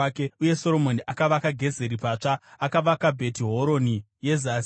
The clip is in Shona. Uye Soromoni akavaka Gezeri patsva. Akavaka Bheti Horoni yeZasi,